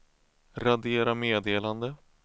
radera meddelande